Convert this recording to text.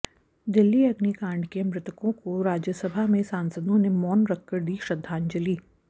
दिल्ली अग्निकाडं के मृतकों को राज्यसभा में सांसदों ने मौन रखकर दी श्रद्धांजलि